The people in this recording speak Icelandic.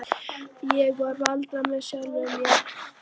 Ég er varla með sjálfum mér núna.